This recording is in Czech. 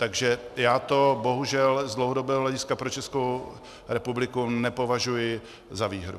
Takže já to bohužel z dlouhodobého hlediska pro Českou republiku nepovažuji za výhru.